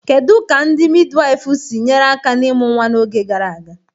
Kedu ka ndị midiwaifu si nyere aka n'ịmụ nwa n'oge gara aga?